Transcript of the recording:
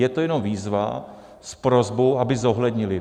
Je to jenom výzva s prosbou, aby zohlednili.